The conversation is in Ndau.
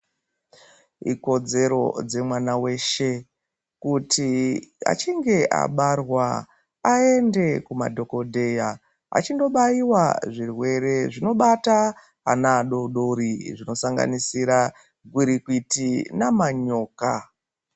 Ikodzero dzemwana weshe kuti achinge abarwa aende kumadhokodheya achindobaiwa zvirwere zvinobata ana adodori zvinosanganisira gwirikwiti namanyoka